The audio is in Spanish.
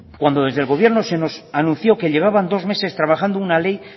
cuando desde el gobierno se nos anunció que llevaban dos meses trabajando una ley